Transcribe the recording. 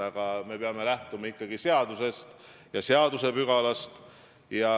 Aga me peame lähtuma ikkagi seadusest ja seadusepügalast.